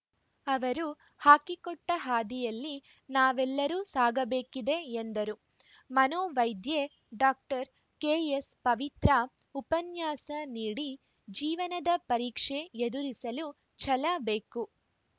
ಅವರು ಹಾಕಿಕೊಟ್ಟಹಾದಿಯಲ್ಲಿ ನಾವೆಲ್ಲರೂ ಸಾಗಬೇಕಿದೆ ಎಂದರು ಮನೋವೈದ್ಯೆ ಡಾಕ್ಟರ್ ಕೆಎಸ್‌ ಪವಿತ್ರಾ ಉಪನ್ಯಾಸ ನೀಡಿ ಜೀವನದ ಪರೀಕ್ಷೆ ಎದುರಿಸಲು ಛಲ ಬೇಕು